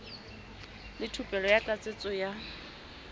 le thupelo ya tlatsetso ya